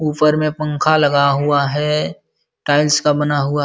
ऊपर में पंखा लगा हुआ है। टाइल्स का बना हुआ --